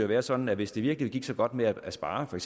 være sådan at hvis det virkelig gik så godt med at spare for